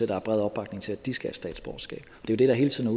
der er bred opbakning til at de skal have statsborgerskab det der hele tiden